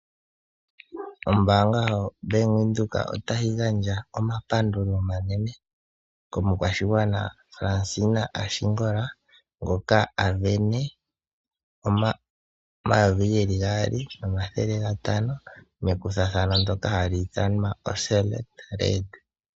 Ombaanga yoBank Windhoek otayi gandja omapandulo omanene komukwashana Fransina Ashingola ngoka a sindana N$ 2500 noSelect Red.